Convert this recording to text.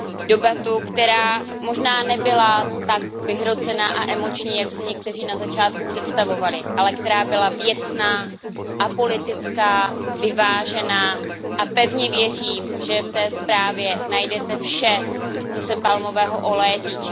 Debatu, která možná nebyla tak vyhrocená a emoční, jak si někteří na začátku představovali, ale která byla věcná, apolitická, vyvážená a pevně věřím, že v té zprávě najdete vše, co se palmového oleje týká.